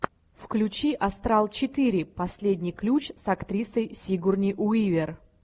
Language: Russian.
включи астрал четыре последний ключ с актрисой сигурни уивер